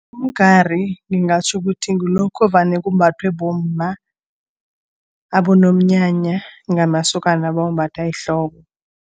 Umgari ngingatjho ukuthi ngilokhu vane kumbathwe bomma, abonomnyanya ngamasokana bawumbatha ehloko.